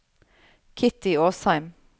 Kitty Åsheim